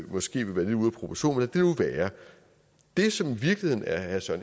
måske være lidt ude af proportion men det nu være det som i virkeligheden er herre søren